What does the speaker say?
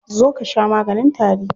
Zo ka sha maganin tari.